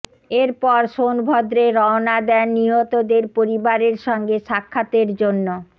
এরপর সোনভদ্রে রওনা দেন নিহতদের পরিবারের সঙ্গে সাক্ষাতের জন্য